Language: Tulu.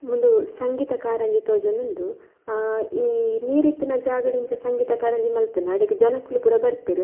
ಮೂಲು ಸಂಗೀತ ಕಾರಂಜಿ ತೋಜೊಂದುಂಡು ಈ ನೀರ್ ಇತ್ತಿನ ಜಾಗಡಿಂಚ ಸಂಗೀತ ಕಾರಂಜಿ ಮಲ್ತುಂಡ ಅಡೆಗ್ ಜನೊಕುಲು ಪೂರ ಬರ್ಪೆರ್.